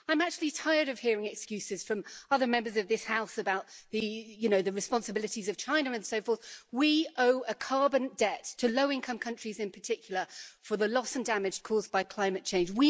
I am actually tired of hearing excuses from other Members of this House about the responsibilities of China and so forth. We owe a carbon debt to low income countries, in particular, for the loss and damage caused by climate change.